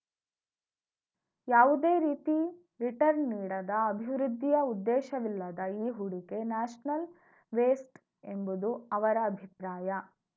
ಯಾವುದೇ ರೀತಿ ರಿಟರ್ನ್‌ ನೀಡದ ಅಭಿವೃದ್ಧಿಯ ಉದ್ದೇಶವಿಲ್ಲದ ಈ ಹೂಡಿಕೆ ನ್ಯಾಷನಲ್‌ ವೇಸ್ಟ್‌ ಎಂಬುದು ಅವರ ಅಭಿಪ್ರಾಯ